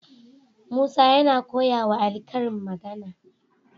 Musa yana koya wa ali karin magAna